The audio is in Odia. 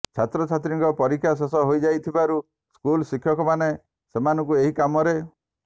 ଛାତ୍ରଛାତ୍ରୀଙ୍କ ପରୀକ୍ଷା ଶେଷ ହୋଇଯାଇଥିବାରୁ ସ୍କୁଲ ଶିକ୍ଷକମାନେ ସେମାନଙ୍କୁ ଏହି କାମରେ